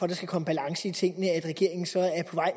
der skal komme balance i tingene at regeringen så